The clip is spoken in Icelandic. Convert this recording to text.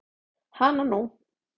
Hana nú.